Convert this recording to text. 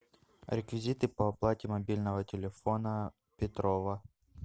реквизиты по оплате мобильного телефона петрова